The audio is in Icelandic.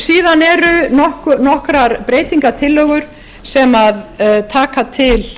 síðan eru nokkrar breytingartillögur sem taka til